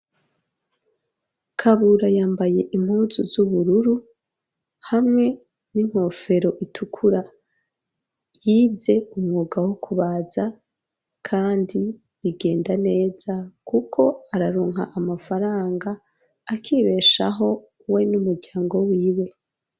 Kabura yambaye impuzu z'ubururu hamwe n'inkofero itukura yize umwuga wo kubaza kandi bigenda neza kuko araronka amafaranga akibeshaho we n'umuryango wiwe.